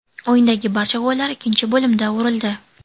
O‘yindagi barcha gollar ikkinchi bo‘limda urildi.